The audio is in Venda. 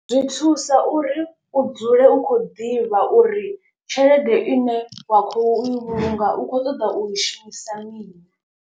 Zwi thusa uri u dzule u khou ḓivha uri tshelede ine wa khou i vhulunga u kho ṱoḓa u i shumisa mini.